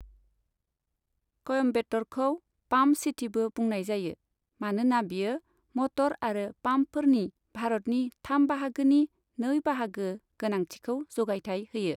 कयम्बेटरखौ pump सिटीबो बुंनाय जायो, मानोना बेयो मटर आरो पाम्पफोरनि भारतनि थाम बाहागोनि नै बाहागो गोनांथिखौ जगायथाइ होयो।